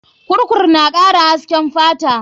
Kurku na kara hasken fata.